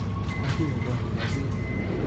Motiwe korikab biik